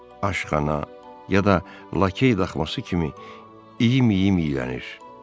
Aşxana ya da lakey daxması kimi iyi-iyimlənilir.